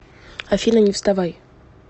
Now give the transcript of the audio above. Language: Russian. афина не вставай